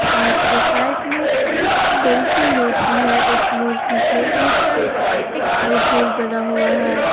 Park की side में एक बड़ी सी मूर्ति है मूर्ति के ऊपर त्रिशूल बना हुआ है।